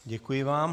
Děkuji vám.